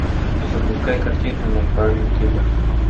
запускай картину мой парень киллер